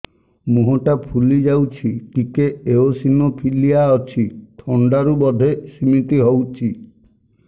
ମୁହଁ ଟା ଫୁଲି ଯାଉଛି ଟିକେ ଏଓସିନୋଫିଲିଆ ଅଛି ଥଣ୍ଡା ରୁ ବଧେ ସିମିତି ହଉଚି